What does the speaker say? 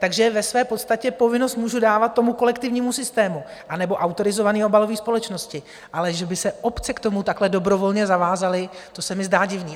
Takže ve své podstatě povinnost můžu dávat tomu kolektivnímu systému anebo autorizované obalové společnosti, ale že by se obce k tomu takhle dobrovolně zavázaly, to se mi zdá divné.